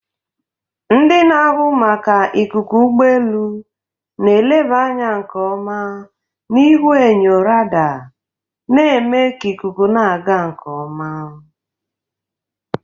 Ndị na-ahụ maka ikuku ụgbọ elu na-eleba anya nke ọma na ihuenyo radar, na-eme ka ikuku na-aga nke ọma.